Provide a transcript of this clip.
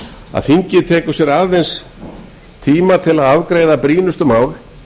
að þingið tekur sér aðeins tíma til að afgreiða brýnustu mál